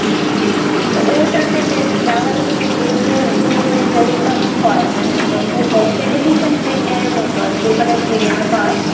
হম তো ওটাতে বেশ বাংলাদেশের যে web series গুলো ওখানে telecast হয় মানে একদম television premiere এর মতো আরকি ওখানে premiere হয়